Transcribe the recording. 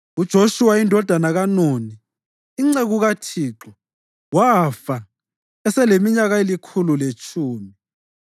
UJoshuwa indodana kaNuni, inceku kaThixo, wafa eseleminyaka elikhulu letshumi.